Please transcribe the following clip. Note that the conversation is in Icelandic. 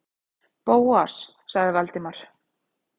Bóas- sagði Valdimar.